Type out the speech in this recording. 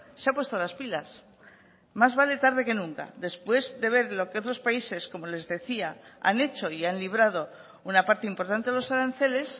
se ha puesto las pilas más vale tarde que nunca después de ver lo que otros países como les decía han hecho y han librado una parte importante de los aranceles